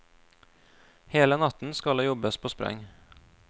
Hele natten skal det jobbes på spreng.